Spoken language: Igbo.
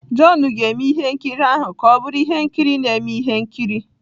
John ga-eme ihe nkiri ahụ ka ọ bụrụ ihe nkiri na-eme ihe nkiri.